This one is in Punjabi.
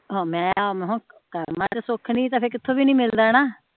ਕਰਮਾ ਚ ਸੁੱਖ ਨੀ ਫੇਰ ਕਿਥੋਂ ਵੀ ਨੀ ਮਿਲਦਾ ਨਾ